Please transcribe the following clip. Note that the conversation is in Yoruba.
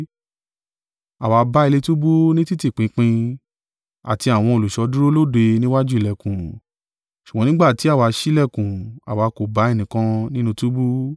“Àwa bá ilé túbú ni títí pinpin, àti àwọn olùṣọ́ dúró lóde níwájú ìlẹ̀kùn; ṣùgbọ́n nígbà tí àwa ṣí ìlẹ̀kùn, àwa kò bá ẹnìkan nínú túbú.”